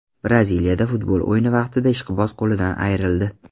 Braziliyada futbol o‘yini vaqtida ishqiboz qo‘lidan ayrildi.